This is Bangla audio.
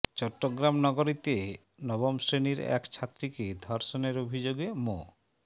চট্টগ্রাম নগরীতে নবম শ্রেণির এক ছাত্রীকে ধর্ষণের অভিযোগে মো